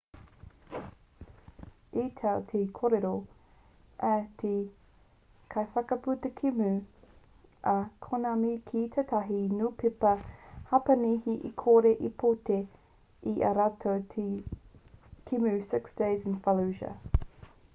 i tau te kōrero a te kaiwhakaputa kēmu a konami ki tētahi niupepa hapanihi e kore e puta i ā rātou te kēmu six days in fallujah